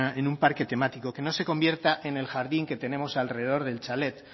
en un parque temático que no se convierta en el jardín que tenemos alrededor del chalet